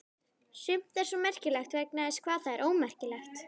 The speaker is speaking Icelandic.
Sumt er svo merkilegt vegna þess hvað það er ómerkilegt.